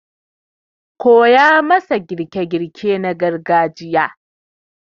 koya masa girke-girke na iyali na gargajiya